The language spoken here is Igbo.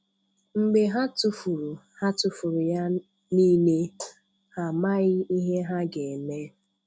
Mgbè hà tụ́furù hà tụ́furù yà niilè, hà amaghị̀ ihè hà ga-emè.